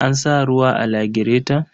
An sa ruwa a lagireton?